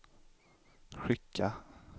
skicka